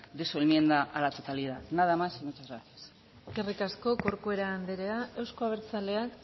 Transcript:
de su enmienda a la totalidad nada más y muchas gracias eskerrik asko corcuera anderea euzko abertzaleak